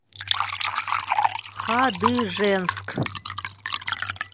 хадыженск